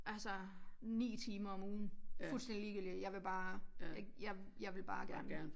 Altså 9 timer om ugen fuldstændig ligegyldigt jeg vil bare ikke jeg jeg vil bare gerne